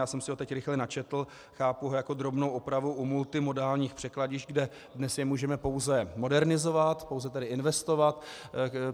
Já jsem si ho teď rychle načetl, chápu ho jako drobnou opravu u multimodálních překladišť, kde dnes je můžeme pouze modernizovat, pouze tedy investovat.